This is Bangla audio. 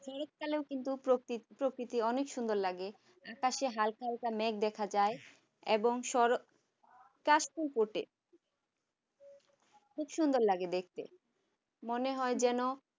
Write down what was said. শরৎকালে কিন্তু প্রকৃতি অনেক সুন্দর লাগে আকাশে হালকা হালকা মেঘ দেখা যায় এবং শরৎ কাশফুল ফোটে খুব সুন্দর লাগে দেখতে মনে হয় যেন